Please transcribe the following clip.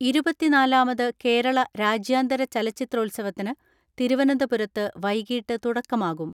ഇരുപത്തിനാലാമത് കേരള രാജ്യാന്തര ചലച്ചിത്രോത്സവത്തിന് തിരുവന ന്തപുരത്ത് വൈകിട്ട് തുടക്കമാകും.